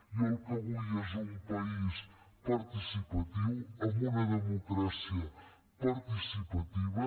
jo el que vull és un país participatiu amb una democràcia participativa